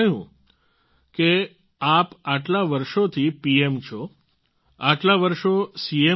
તેમણે કહ્યું કે આપ આટલા વર્ષોથી પીએમ છો આટલા વર્ષો સી